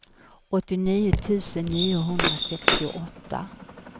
åttionio tusen niohundrasextioåtta